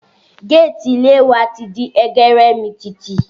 Gétìì ilé wa ti di ẹgẹrẹmìtìtì